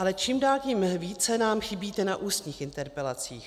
Ale čím dál tím více nám chybíte na ústních interpelacích.